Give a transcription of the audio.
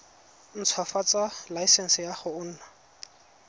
ntshwafatsa laesense ya go nna